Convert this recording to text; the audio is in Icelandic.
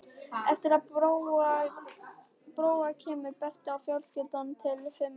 Á eftir Bróa kemur Berti og fjölskyldan telur fimm manns.